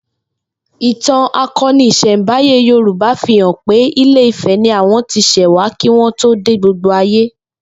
Ìtàn ako̩ni ìs̩è̩nbáyé Yorúbá fi hàn pé Ilé Ifè̩ ni àwo̩n ti s̩è̩ wá kí wó̩n tó dé gbogbo ayé